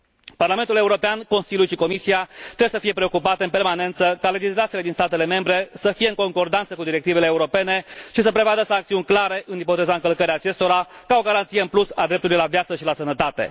Parlamentul European, Consiliul și Comisia trebuie să fie preocupate în permanență ca legislațiile din statele membre să fie în concordanță cu directivele europene și să prevadă sancțiuni clare în ipoteza încălcării acestora ca o garanție în plus a dreptului la viață și la sănătate.